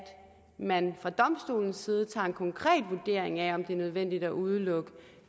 man fra domstolens side tager en konkret vurdering af om det er nødvendigt at udelukke